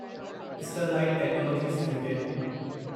Sterlite Technologies limited